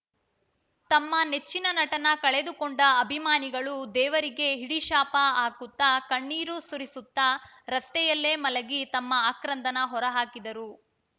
ತಮ್ಮ ನೆಚ್ಚಿನ ನಟನ ಕಳೆದುಕೊಂಡ ಅಭಿಮಾನಿಗಳು ದೇವರಿಗೆ ಹಿಡಿಶಾಪ ಹಾಕುತ್ತಾ ಕಣ್ಣೀರು ಸುರಿಸುತ್ತಾ ರಸ್ತೆಯಲ್ಲೇ ಮಲಗಿ ತಮ್ಮ ಆಕ್ರಂದನ ಹೊರಹಾಕಿದರು